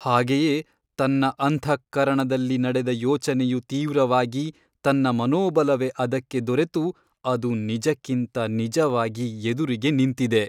ಹಾಗೆಯೇ ತನ್ನ ಅಂತಃಕರಣದಲ್ಲಿ ನಡೆದ ಯೋಚನೆಯು ತೀವ್ರವಾಗಿ ತನ್ನ ಮನೋಬಲವೇ ಅದಕ್ಕೆ ದೊರೆತು ಅದು ನಿಜಕ್ಕಿಂತ ನಿಜವಾಗಿ ಎದುರಿಗೆ ನಿಂತಿದೆ.